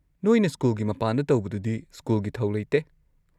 ꯅꯣꯏꯅ ꯁ꯭ꯀꯨꯜꯒꯤ ꯃꯄꯥꯟꯗ ꯇꯧꯕꯗꯨꯗꯤ ꯁ꯭ꯀꯨꯜꯒꯤ ꯊꯧ ꯂꯩꯇꯦ꯫